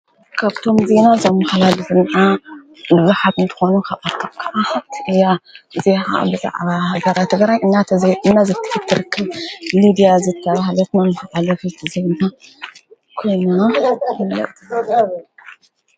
ከብቶምዙይኖ ዘምሃላ ድፍን ልቢኃትኒትኾኑ ኽባልቶ ዓህት እያ እዚ ብዛዕባ በራ ቲ ገራይ እናተዘነ ዘትፍትርክብ ሊድያ ዘጋብሃለትናን ዓለፊት ዘይምና ኲኖ ሕነትእያ ::